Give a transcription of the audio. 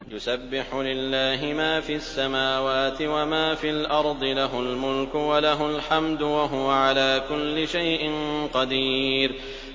يُسَبِّحُ لِلَّهِ مَا فِي السَّمَاوَاتِ وَمَا فِي الْأَرْضِ ۖ لَهُ الْمُلْكُ وَلَهُ الْحَمْدُ ۖ وَهُوَ عَلَىٰ كُلِّ شَيْءٍ قَدِيرٌ